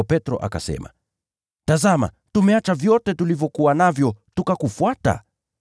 Ndipo Petro akamjibu, “Tazama, tumeacha vyote tulivyokuwa navyo tukakufuata!”